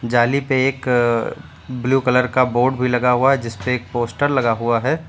जाली पे एक ब्लू कलर का बोर्ड भी लगा हुआ है जिसपे एक पोस्टर लगा हुआ है।